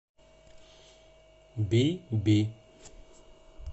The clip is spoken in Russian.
би би